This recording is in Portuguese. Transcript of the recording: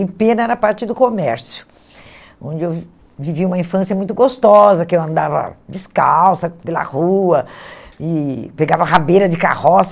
Em Pena era parte do comércio, onde eu vivia uma infância muito gostosa, que eu andava descalça pela rua e pegava rabeira de carroça.